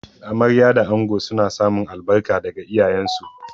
Amarya da ango suna samun albarka daga iyayensu.